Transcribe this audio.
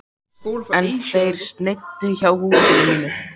En þeir sneiddu hjá húsinu mínu.